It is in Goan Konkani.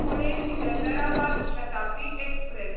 पुणे सिकंदराबाद शताब्दी एक्सप्रॅस